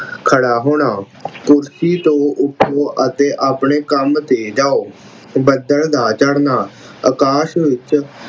ਖੜ੍ਹਾ ਹੋਣਾ ਕੁਰਸੀ ਤੋਂ ਉੱਠੋ ਅਤੇ ਆਪਣੇ ਕੰਮ ਤੇ ਜਾਉ। ਬੱਦਲ ਦਾ ਚੜਨਾ ਆਕਾਸ਼ ਵਿੱਚ